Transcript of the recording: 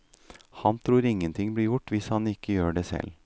Han tror ingenting blir gjort hvis han ikke gjør det selv.